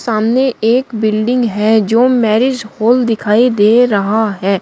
सामने एक बिनडींग है जो मैरिज हॉल दिखाई दे रहा है।